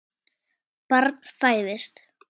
Barn fæðist.